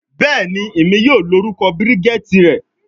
Bẹẹni, Emi yoo lorukọ Bridget rẹ